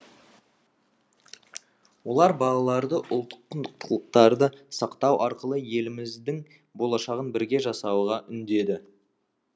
олар балаларды ұлттық құндылықтарды сақтау арқылы еліміздің болашағын бірге жасауға үндеді